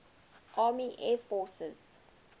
army air forces